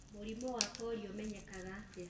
Mũrimũ wa polio ũmenyekaga atĩa?